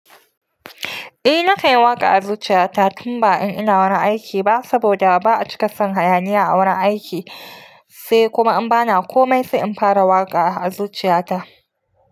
Eh na kan yi waƙa a zuciya ta tun ba in ina wurin aiki ba saboda ba'a cika son hayaniya a wurin aiki sai kuma in bana komai sai in fara waƙa a zuciya ta.